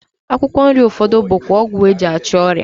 Akwụkwọ nri ụfọdụ bụkwa ọgwụ e ji achụ ọrịa